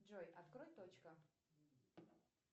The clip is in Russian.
джой открой точка